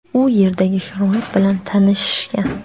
u yerdagi sharoit bilan tanishishgan.